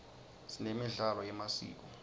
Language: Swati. sinemidlalo yemasiko